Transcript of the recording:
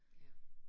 Ja